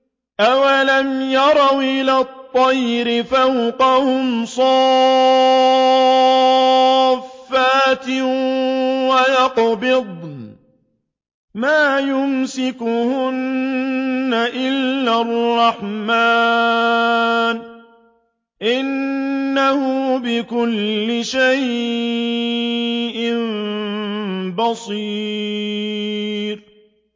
أَوَلَمْ يَرَوْا إِلَى الطَّيْرِ فَوْقَهُمْ صَافَّاتٍ وَيَقْبِضْنَ ۚ مَا يُمْسِكُهُنَّ إِلَّا الرَّحْمَٰنُ ۚ إِنَّهُ بِكُلِّ شَيْءٍ بَصِيرٌ